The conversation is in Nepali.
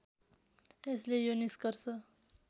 यसले यो निष्कर्ष